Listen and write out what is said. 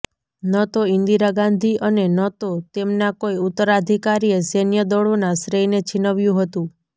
ન તો ઈન્દિરા ગાંધી અને ન તો તેમના કોઈ ઉત્તરાધિકારીએ સૈન્ય દળોના શ્રેયને છીનવ્યું હતું